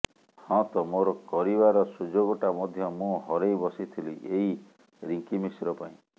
ହଁ ତ ମୋର କରିବାର ସୁଯୋଗଟା ମଧ୍ୟ ମୁଁ ହରେଇ ବସିଥିଲି ଏଇ ରିଙ୍କି ମିଶ୍ର ପାଇଁ